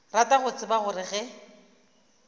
rata go tseba gore ge